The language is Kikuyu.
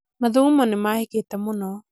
mathugumo nĩmahĩkĩte mũno